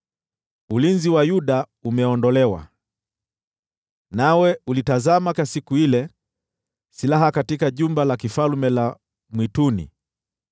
ulinzi wa Yuda umeondolewa. Nawe ulitazama siku ile silaha katika Jumba la Kifalme la Mwituni,